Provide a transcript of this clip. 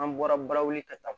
An bɔra barawuli ka taa